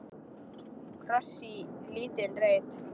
Kross í lítinn reit.